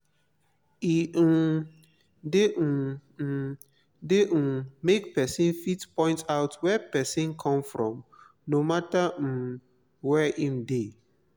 e um de um um de um make persin fit point out where persin come from no matter um where im de